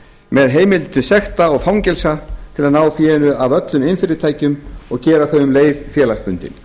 með heimild til sekta og fangelsa til að ná fénu af öllum iðnfyrirtækjum og gera þau um leið félagsbundin